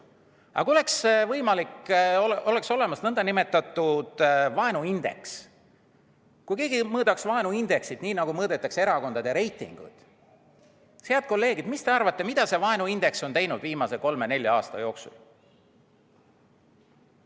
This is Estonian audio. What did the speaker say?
Aga kui oleks olemas nn vaenuindeks, kui keegi mõõdaks vaenuindeksit, nii nagu mõõdetakse erakondade reitinguid, head kolleegid, siis mis te arvate, mida see vaenuindeks on teinud viimase kolme-nelja aasta jooksul?